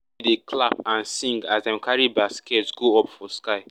everybody dey clap and sing as dem carry baskets go up for sky